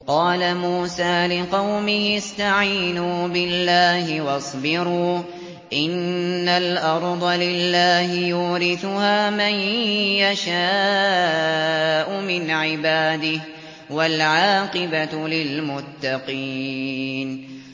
قَالَ مُوسَىٰ لِقَوْمِهِ اسْتَعِينُوا بِاللَّهِ وَاصْبِرُوا ۖ إِنَّ الْأَرْضَ لِلَّهِ يُورِثُهَا مَن يَشَاءُ مِنْ عِبَادِهِ ۖ وَالْعَاقِبَةُ لِلْمُتَّقِينَ